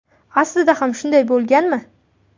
Aslida ham shunday bo‘lganmi?